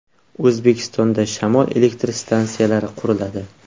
O‘zbekistonda shamol elektr stansiyalari quriladi.